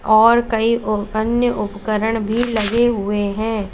और कई ओ अन्य उपकरण भी लगे हुए हैं।